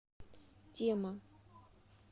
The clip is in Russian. тема